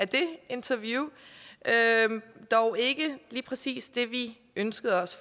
det interview dog ikke lige præcis det vi ønskede os